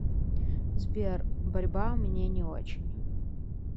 сбер борьба мне не очень